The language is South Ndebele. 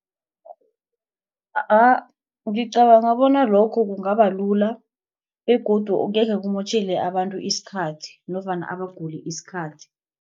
Ngicabanga bona lokho kungabalula begodu angekhe kumotjhele abantu isikhathi nofana abaguli isikhathi.